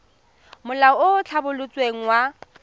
molao o o tlhabolotsweng wa